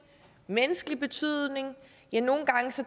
menneskelig betydning ja nogle gange